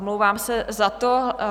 Omlouvám se za to.